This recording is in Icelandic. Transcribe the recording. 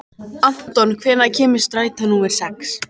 Anton, hvenær kemur strætó númer sex?